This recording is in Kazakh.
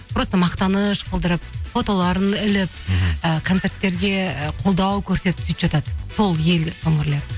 просто мақтаныш қылдырып фотоларын іліп і концерттерге қолдау көрсетіп сөйтіп жатады сол ел өңірлері